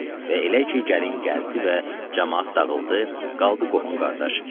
Və elə ki gəlin gəldi və camaat dağıldı, qaldı qohum-qardaş.